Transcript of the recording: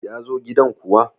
ya zo gidan kuwa!